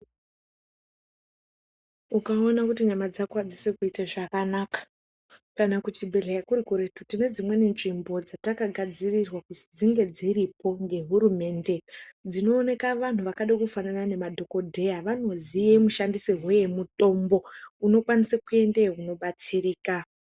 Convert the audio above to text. Ukaona kuti nyama dzako hadzisi kuite zvakanaka, kana kuchibhedhleya kuri kuretu, tine dzimweni nzvimbo dzatakagadzirirwa kuzi dzinge dziripo ngehurumende, dzinooneka vanhu vakada kufanana nemadhokodheya. Vanoziye mushandisirwe yemutombo. Unokwanisa kuendeyo unobatsirika.